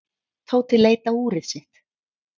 Tóti leit á úrið sitt.